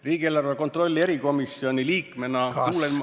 Riigieelarve kontrolli erikomisjoni liikmena kuulen ma ...